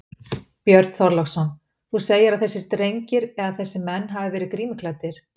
Björn Þorláksson: Þú segir að þessir drengir eða þessir menn hafi verið grímuklæddir?